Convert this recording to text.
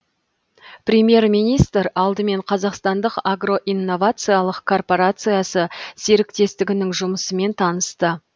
премьер министр алдымен қазақстандық агро инновациялық корпорациясы серіктестігінің жұмысымен танысты